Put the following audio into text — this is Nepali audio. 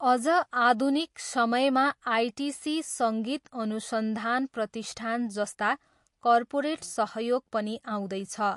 अझ आधुनिक समयमा आइटिसी सङ्गीत अनुसन्धान प्रतिष्ठान जस्ता कर्पोरेट सहयोग पनि आउँदैछ।